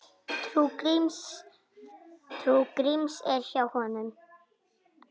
Trú Gríms er hjá honum.